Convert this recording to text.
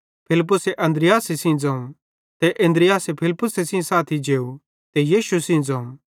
फिलिप्पुसे अन्द्रियासे सेइं ज़ोवं ते अन्द्रियास फिलिप्पुसे सेइं साथी जेव ते यीशु सेइं ज़ोवं